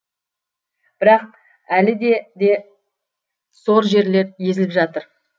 бірақ әліде де сор жерлер езіліп жатыр